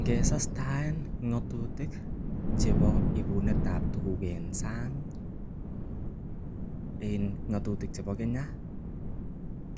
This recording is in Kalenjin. Ngesastaen ng'atutik chebo ibunet ab tuguk en sang en ngatutik chebo Kenya